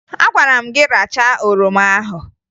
Agwara m gị rachaa oroma ahụ!